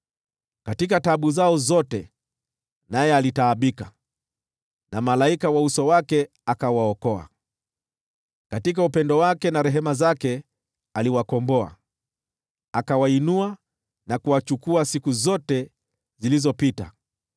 Katika taabu zao zote naye alitaabika, na malaika wa uso wake akawaokoa. Katika upendo wake na rehema zake aliwakomboa, akawainua na kuwachukua siku zote zilizopita.